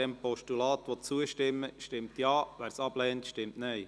Wer diesem Postulat zustimmen will, stimmt Ja, wer dies ablehnt, stimmt Nein.